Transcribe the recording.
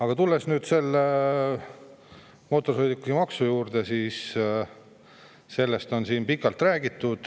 Kui tulla nüüd selle mootorsõidukimaksu juurde, siis sellest on siin pikalt räägitud.